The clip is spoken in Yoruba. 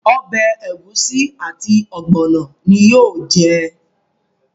Obè egusi àti ogbono ní yóò jẹ.